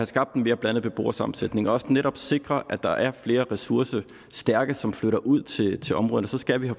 skabt en mere blandet beboersammensætning og også netop sikre at der er flere ressourcestærke som flytter ud til til områderne så skal vi